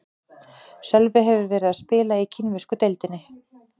Sölvi hefur verið að spila í kínversku deildinni.